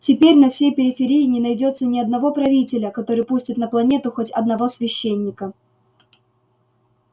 теперь на всей периферии не найдётся ни одного правителя который пустит на планету хоть одного священника